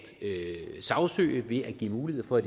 sagsøge ved at give mulighed for at